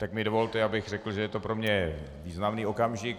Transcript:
Tak mi dovolte, abych řekl, že je to pro mě významný okamžik.